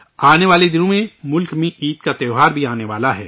آنے والے دنوں میں ملک میں عید کا تہوار بھی آنے والا ہے